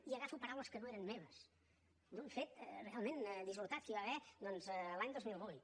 i agafo paraules que no eren meves d’un fet realment dissortat que hi va haver doncs l’any dos mil vuit